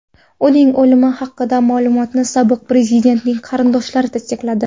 Uning o‘limi haqidagi ma’lumotni sobiq prezidentning qarindoshlari tasdiqladi.